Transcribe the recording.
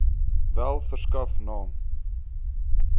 wel verskaf naam